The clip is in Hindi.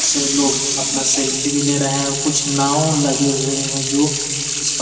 लोग अपना सेल्फी भी ले रहे हैं और कुछ नाव लगे हुए हैं जो इस --